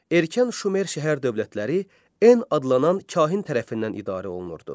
Erkən Şumer şəhər dövlətləri En adlanan kahin tərəfindən idarə olunurdu.